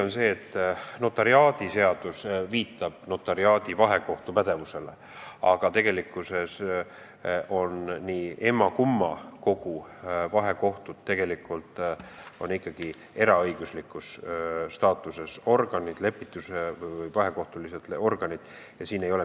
Notariaadiseadus viitab notariaadi vahekohtu pädevusele, aga tegelikult on mõlema kogu vahekohtud ikkagi eraõigusliku staatusega lepitus- või vahekohtulised organid.